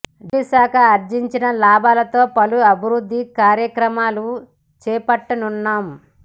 జైళ్ల శాఖ ఆర్జించిన లాభాలతో పలు అభివృద్ధి కార్యక్రమాలు చేపట్టనున్నాం